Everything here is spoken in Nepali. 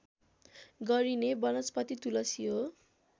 गरिने वनस्पति तुलसी हो